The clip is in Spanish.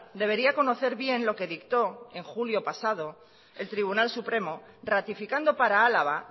debería conocer bien lo que dictó en julio pasado el tribunal supremo ratificando para álava